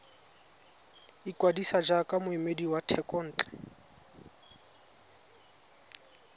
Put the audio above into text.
ikwadisa jaaka moemedi wa thekontle